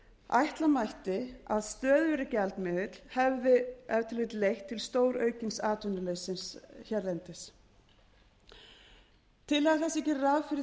ætla mætti að stöðugri gjaldmiðill hefði ef til vill leitt til stóraukins atvinnuleysis hérlendis tillaga þessi gerir ráð fyrir því að farið